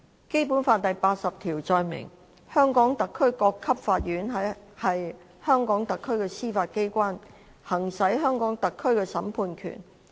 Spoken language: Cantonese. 《基本法》第八十條載明，香港特區各級法院是香港特區的司法機關，行使香港特區的審判權。